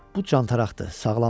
Bu cantaqdır, sağlamdır.